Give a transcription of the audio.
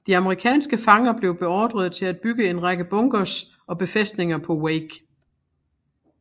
De amerikanske fanger blev beordret til at bygge en række bunkers og befæstninger på Wake